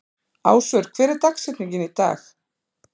Ásvör, hver er dagsetningin í dag?